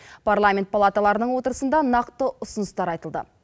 парламент палаталарының отырысында нақты ұсыныстар айтылды